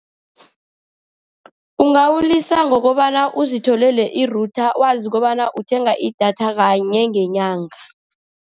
Ungawulisa ngokobana uzitholele i-router, wazi kobana uthenga idatha kanye ngenyanga.